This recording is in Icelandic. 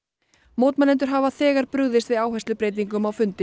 mótmælendur hafa þegar brugðist við áherslubreytingum á fundi